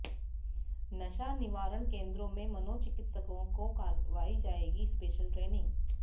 नशा निवारण केंद्रों में मनोचिकित्सकों को करवाई जाएगी स्पेशल ट्रेनिंग